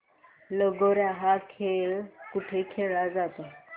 लगोर्या हा खेळ कुठे खेळला जातो